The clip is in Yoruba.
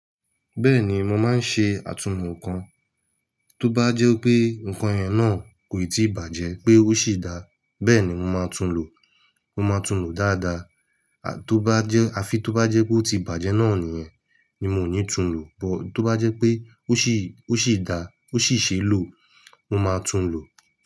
Bẹ́ẹ̀ni, mo máa ń ṣe àtumọ̀ nǹkan. Tó bá jẹ́ pé ǹkan yẹn náà kò ì tí bàjẹ́ pé ó sì dáa, bẹ́ẹ̀ ni mo máa tún un lò. Mo máa tún un lò dáadáa. À, tó bá jẹ́, àfi tó bá jẹ́ pé ó ti bàjẹ́ náà nìyẹn, ni mo ò ní tún un lò. But tó bá jẹ́ pé ó sì, ó sì dáa, ó sì ṣe lò, mo máa tún un lò.